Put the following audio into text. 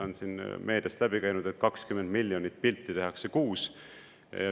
On siin meediast läbi käinud, et 20 miljonit pilti tehakse kuus.